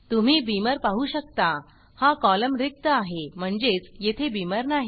तुम्ही बीमर पाहु शकता हा कॉलम रिक्त आहे म्हणजेच येथे बीमर नाही